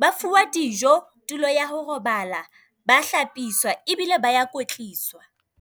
ba fuwa dijo, tulo ya ho robala, ba hlapiswa ebile ba kwetliswa.